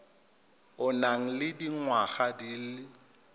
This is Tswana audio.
o nang le dingwaga di